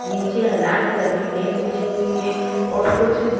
नीचे ह लाल कलर की नेट बिछी हुई है और कुछ --